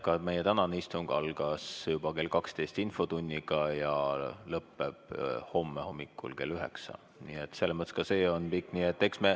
Ka meie tänane istung algas juba kell 12 infotunniga ja lõppeb homme hommikul kell üheksa, nii et selles mõttes ka see on pikk.